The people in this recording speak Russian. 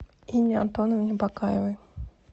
инне антоновне бакаевой